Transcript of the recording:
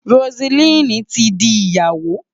Roseline ti di Ìyàwó.